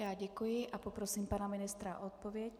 Já děkuji a poprosím pana ministra o odpověď.